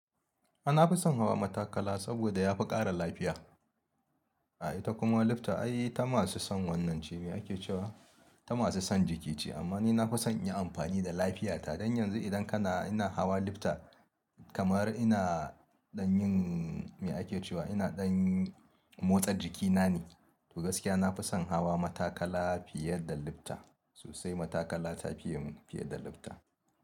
Ah, nafi son hawa matakala saboda yafi ƙara lafiya. Ah ita kuma lifta ai ta masu son wannan ce, me ake cewa ta masu son jiki ce. Amma ni na fi son in yi amfani da lafiyata. Don yanzu idan kana, ina hawa lifta kamar ina ɗan yin me ake cewa ina ɗan motsa jikina ne. To gaskiya nafi son haha matakala fiye da lifta. Sosaima matakala ta fiye mun fiye da lifta.